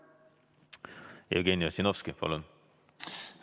Jevgeni Ossinovski, palun!